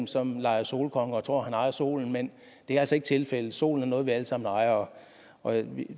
som leger solkonge og tror at han ejer solen men det er altså ikke tilfældet solen er noget vi alle sammen ejer og